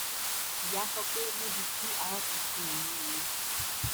ìyá sọ pé níbi tí ara ti fu òun nìyẹn